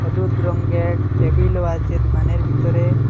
হলুদ রঙ্গের টেবিলও আছে দুকানের ভিতরে।